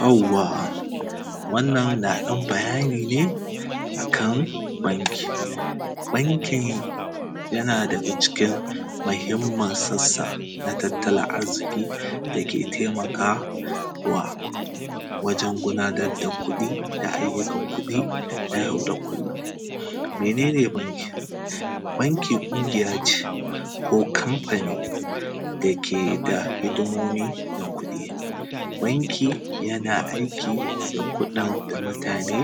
Yawwa! Wannan na ɗan bayani ne a kan banki. Banki, yana daga cikin mahimmin sassa na tattalin arziki da ke temaka wa wajen gudanad da kuɗi da ayyukan kuɗi na yau da kullun. Mene ne banki? Banki ƙungiya ce ko kamfani da ke da hidimomi na kuɗi. Banki, yana aiki da kuɗin da mutane